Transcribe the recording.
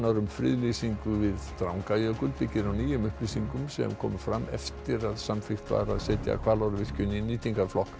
um friðlýsingu við Drangajökul byggir á nýjum upplýsingum sem komu fram eftir að samþykkt var að setja Hvalárvirkjun í nýtingarflokk